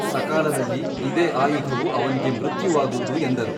ಸಕಾಲದಲ್ಲಿ ಇದೆ ಆಯುಧವು ಅವನಿಗೆ ಮೃತ್ಯುವಾಗುವುದು ಎಂದರು.